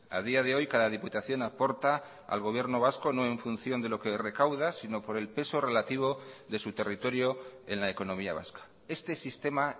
a día de hoy cada diputación aporta al gobierno vasco no en función de lo que recaudas sino por el peso relativo de su territorio en la economía vasca este sistema